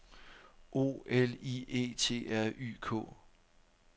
O L I E T R Y K